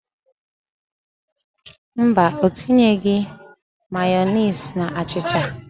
Mba, ọ tinyeghị Mayọnesị na achịcha.